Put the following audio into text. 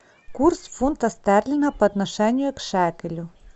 курс фунта стерлинга по отношению к шекелю